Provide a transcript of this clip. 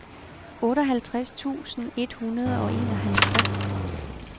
otteoghalvtreds tusind et hundrede og enoghalvtreds